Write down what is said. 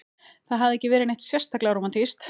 Það hafði ekki verið neitt sérstaklega rómantískt.